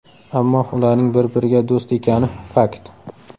Ammo ularning bir-biriga do‘st ekani – fakt.